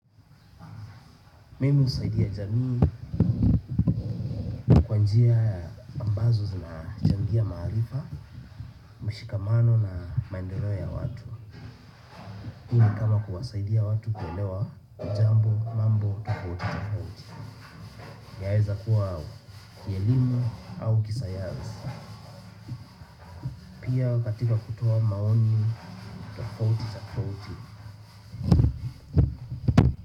Mimi husaidia jamii, kwa njia ambazo zinachangia maarifa, mshikamano na maendeleo ya watu. Hii ni kama kuwasaidia watu kuelewa jambo, mambo, tofauti, tofautii. Yaeza kuwa, kielimu au kisayarisi. Pia katika kutoa maoni, tofauti, tofauti.